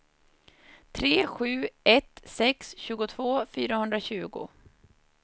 tre sju ett sex tjugotvå fyrahundratjugo